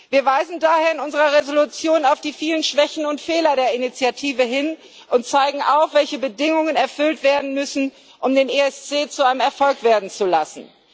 Wir weisen daher in unserer Entschließung auf die vielen Schwächen und Fehler der Initiative hin und zeigen auf, welche Bedingungen erfüllt werden müssen, um den ESC zu einem Erfolg werden zu lassen.